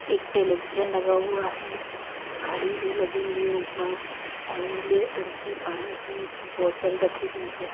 एक टेलीविजन लगा हुआ है घड़ी भी लगी हुई है ऊपर और नीले टंकी पानी की बोतल रखी हुई है।